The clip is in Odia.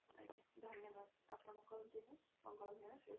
ଆଜ୍ଞା ଧନ୍ୟବାଦ ଆପଣଙ୍କର ର ଦିନ ମଙ୍ଗଳମୟ ହେଉ।